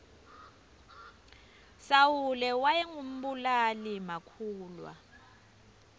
sawule wayengu mbulali makhulwa